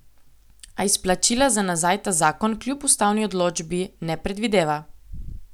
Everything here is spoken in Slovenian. A izplačila za nazaj ta zakon, kljub ustavni odločbi, ne predvideva.